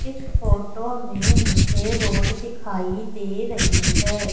इस फोटो में मुझे रोड दिखाइए दे रही है।